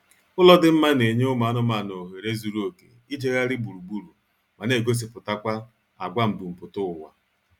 Ụlọ dị mma na-enye ụmụ anụmaanụ ohere zuru oké ijegharị gburugburu ma na-egosipụtakwa agwa mbumputaụwa